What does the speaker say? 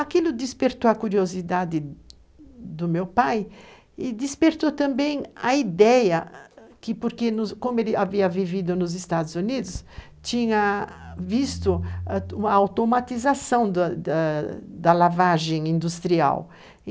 Aquilo despertou a curiosidade do meu pai e despertou também a ideia, porque, como ele havia vivido nos Estados Unidos, tinha visto a automatização do da lavagem industrial.